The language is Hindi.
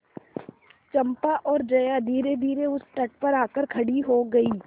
चंपा और जया धीरेधीरे उस तट पर आकर खड़ी हो गई